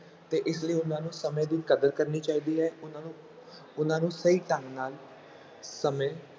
ਤੇ ਇਸ ਲਈ ਉਹਨਾਂ ਨੂੰ ਸਮੇਂ ਦੀ ਕਦਰ ਕਰਨੀ ਚਾਹੀਦੀ ਹੈ ਉਹਨਾਂ ਨੂੰ, ਉਹਨਾਂ ਨੂੰ ਸਹੀ ਢੰਗ ਨਾਲ ਸਮੇਂ